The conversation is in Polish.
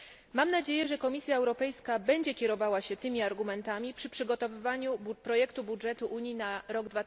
Mam nadzieję, że Komisja Europejska będzie kierowała się tymi argumentami przy przygotowywaniu projektu budżetu Unii na rok